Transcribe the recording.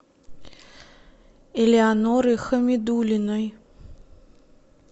элеоноры хамидуллиной